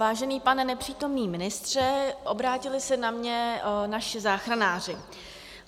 Vážený pane nepřítomný ministře, obrátili se na mě naši záchranáři.